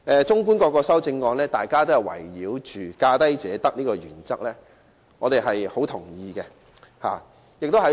綜觀各項修正案，大家均圍繞"價低者得"這項原則提出意見，我們對此十分認同。